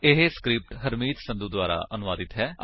ਇਹ ਸਕਰਿਪਟ ਹਰਮੀਤ ਸੰਧੂ ਦੁਆਰਾ ਅਨੁਵਾਦਿਤ ਹੈ